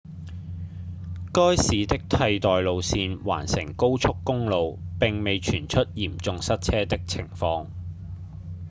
該市的替代路線環城高速公路並未傳出嚴重塞車的情況